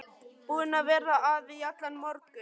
Búin að vera að í allan morgun.